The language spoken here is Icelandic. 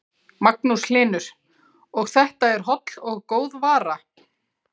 Magnús Hlynur: Og þetta er holl og góð vara?